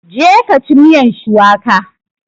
Je ka ci miyan shuwaka!